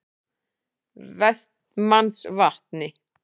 Vestmannsvatni